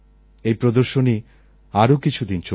এই প্রদর্শনী আরও কিছুদিন চলবে